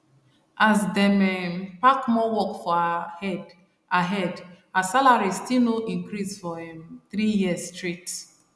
as dem um pack more work for her head her head her salary still no increase for um three years straight